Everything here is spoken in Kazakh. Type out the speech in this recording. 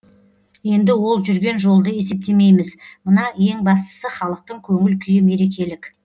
енді ол жүрген жолды есептемейміз мына ең бастысы халықтың көңіл күйі мерекелік